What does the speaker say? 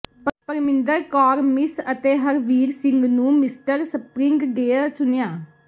Parminder Kaur miss ਤੇ ਹਰਵੀਰ ਸਿੰਘ ਨੂੰ mister spring day ਚੁਣਿਆ